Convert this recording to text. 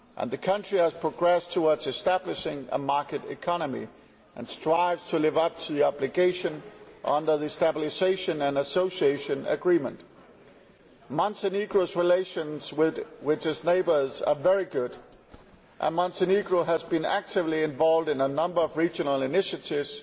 The country has progressed towards establishing a market economy and strives to live up to the obligations under the Stabilisation and Association Agreement. Montenegro's relations with its neighbours are very good and Montenegro has been actively involved in a number of regional initiatives,